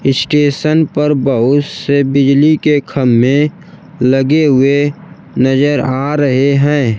Station पर बहुत से बिजली के खम्मे लगे हुए नजर आ रहे हैं।